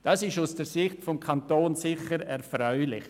Dies ist aus der Sicht des Kantons sicher erfreulich.